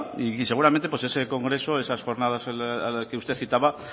y seguramente pues ese congreso esas jornadas a las que usted citaba